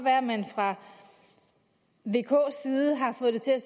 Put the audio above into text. at man fra vks side har fået det til at